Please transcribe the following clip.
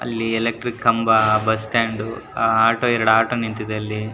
ಅಲ್ಲಿ ಎಲೆಕ್ಟ್ರಿಕ್ ಕಂಬ. Bus stand ಅಹ್ ಆಟೋ ಎರಡು ಆಟೋ ನಿಂತಿದೆ ಅಲ್ಲಿ.